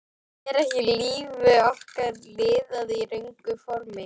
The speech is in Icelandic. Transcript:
Er ekki lífi okkar lifað í röngu formi?